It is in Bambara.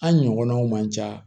An ɲɔgɔnnaw man ca